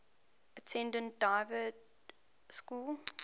attended dynevor school